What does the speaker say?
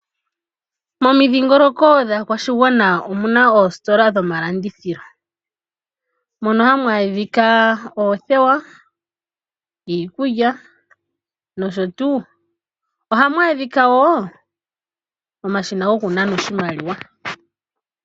Momidhingoloko dhaakwashigwana omuna oositola dhomalandithilo mono hamu adhika oothewa, iikulya nosho tuu . Ohamu adhika woo omashina goku nana oshimaliwa.